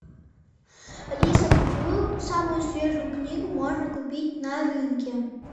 алиса какую самую свежую книгу можно купить на рынке